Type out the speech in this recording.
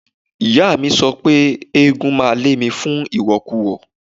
Ìyáàmi mi sọ pé eégún máa lé mi fún ìwọ̀kuwọ̀.